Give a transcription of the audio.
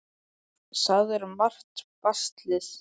Það er margt baslið.